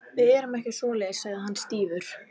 Við gerum ekki svoleiðis sagði hann stífur.